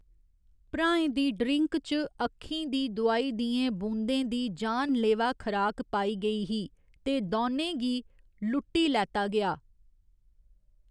भ्राएं दी ड्रिंक च अक्खीं दी दोआई दियें बूंदें दी जानलेवा खराक पाई गेई ही ते दौनें गी लुट्टी लैता गेआ।